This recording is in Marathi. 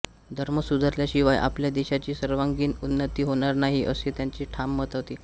धर्म सुधारल्याशिवाय आपल्या देशाची सर्वांगीण उन्नती होणार नाही असे त्यांचे ठाम मत होते